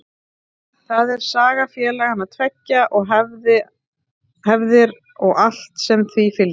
Það er saga félagana tveggja og hefðir og allt sem því fylgir.